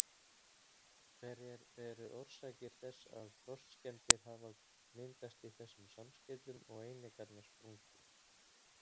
Hverjar eru orsakir þess að frostskemmdir hafa myndast í þessum samskeytum og einingarnar sprungið?